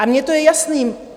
A mně to je jasné!